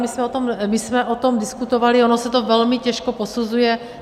My jsme o tom diskutovali, ono se to velmi těžko posuzuje.